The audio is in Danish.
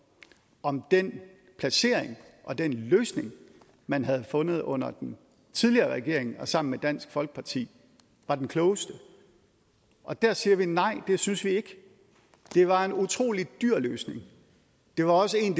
om den placering og den løsning man havde fundet under den tidligere regering sammen med dansk folkeparti var den klogeste og der siger vi nej det synes vi ikke det var en utrolig dyr løsning og det var også en